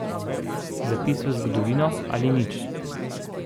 Zapis v zgodovino ali nič?